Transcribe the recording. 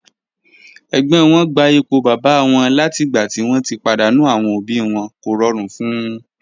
Ẹ̀gbọ́n wọn gba ipò bàbá wọn látìgbà tí wọ́n ti pàdánù àwọn òbí wọn, kò rọrùn fún un.